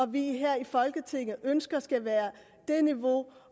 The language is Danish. vi her i folketinget ønsker skal være det niveau